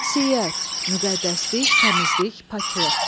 Qüdsiyyət, müqəddəslik, təmizlik, paklıq.